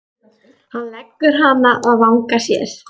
Hann leggur hana að vanga sér.